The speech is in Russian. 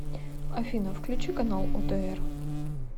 афина включи канал отр